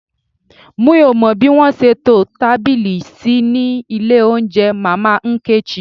Mi ò mọ bí wọ́n ṣe to tábìlì sí ní ilé oúnjẹ Mama Nkechi